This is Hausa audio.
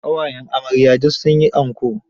Ƙawayen amarya duk sun yi anko.